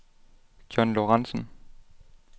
John Lorentsen